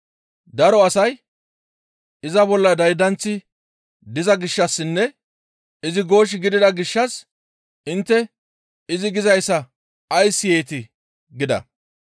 Daro asay, «Iza bolla daydanththi diza gishshassinne izi goosh gidida gishshas intte izi gizayssa ays siyeetii?» gida.